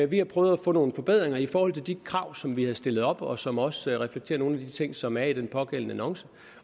vi har prøvet at få nogle forbedringer i forhold til de krav som vi havde stillet op og som også reflekterer nogle af de ting som er i den pågældende annonce